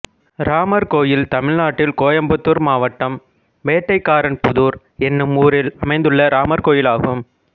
ராமர் கோயில் தமிழ்நாட்டில் கோயம்புத்தூர் மாவட்டம் வேட்டைக்காரன்புதூர் என்னும் ஊரில் அமைந்துள்ள ராமர் கோயிலாகும்